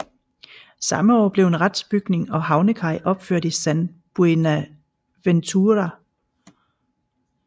Samme år blev en retsbygning og havnekaj opført i San Buenaventura